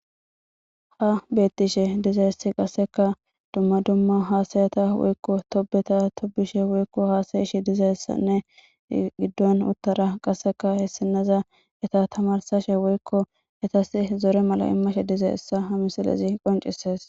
ha beettishe dizayessi qasseka dumma dumma haasayata woykko tobeta tobishe woykko haasayishi dizayessanne giddon uttara qasseka hessinaza eta tamarsashe woykko etas zore mala immashe dizayessa ha misilezi qoncisees